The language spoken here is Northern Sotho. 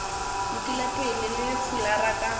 lokile pele le fulara ka